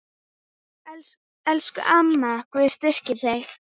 Elsku amma, Guð styrki þig.